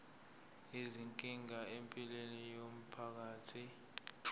izinkinga empilweni yomphakathi